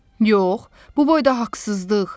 Yox, bu boyda haqsızlıq.